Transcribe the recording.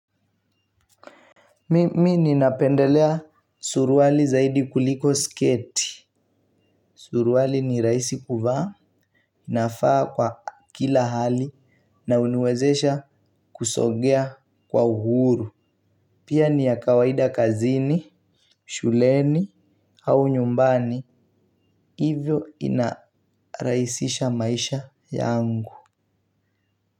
Mimi ninapendelea suruali zaidi kuliko sketi. Suruali ni rahisi kuvaa navaa kwa kila hali. Na huniwezesha kusogea kwa uhuru. Pia ni ya kawaida kazini. Shuleni au nyumbani hivyo inarahisisha maisha yangu. Kwa hivyo.